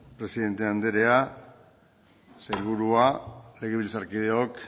presidente anderea sailburua legebiltzarkideok